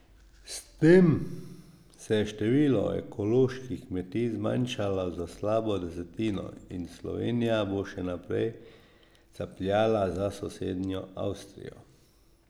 S tem se je število ekoloških kmetij zmanjšalo za slabo desetino in Slovenija bo še naprej capljala za sosednjo Avstrijo.